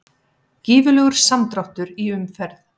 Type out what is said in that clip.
Gífurlegur samdráttur í umferð